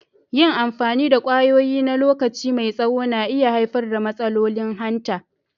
Yin amfani da kwayoyi na lokaci mai tsaho na iya haifar da matsalolin hanta.